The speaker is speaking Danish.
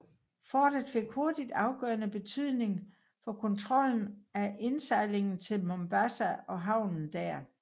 Fortet fik hurtigt afgørende betydning for kontrollen af indsejlingen til Mombasa og havnen der